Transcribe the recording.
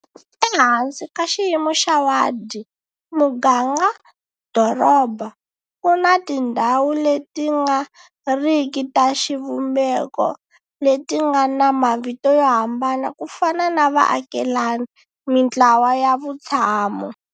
Ehansi ka xiyimo xa wadi-muganga-doroba ku na tindhawu leti nga riki ta xivumbeko leti nga na mavito yo hambana ku fana na vaakelani, mintlawa ya vutshamo.